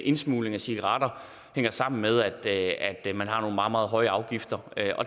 indsmugling af cigaretter hænger sammen med at man har nogle meget meget høje afgifter